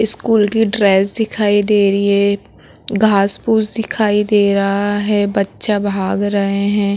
School की dress दिखाई दे रही है घास-फूस दिखाई दे रहा है बच्चा भाग रहे हैं।